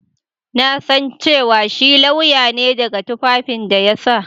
Na san cewa shi lauya ne daga tufafin da ya sa.